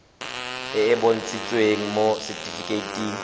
e e bontshitsweng mo setifikeiting